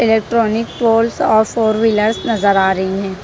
Electronic poles और four wheelers नजर आ रही हैं।